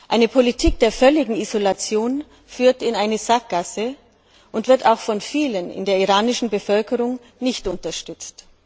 Eine Politik der völligen Isolation führt in eine Sackgasse und wird auch von vielen in der iranischen Bevölkerung nicht unterstützt.